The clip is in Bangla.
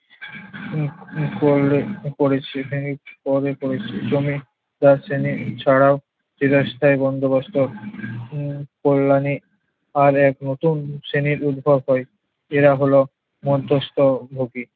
করলে করেছে। হ্যাঁ পরে করেছে। জমি ক্রয় শ্রেণির ছাড়াও বিলাসিতার বন্দোবস্ত উম কল্যাণে আরেক নতুন শ্রেণির উদ্ভব হয়। এরা হলো মধ্যস্থ ভোগী।